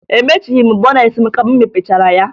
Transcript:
Emechighi m bọneetị m ka m mepechara ya